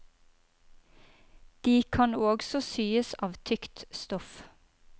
De kan også syes av tykt stoff.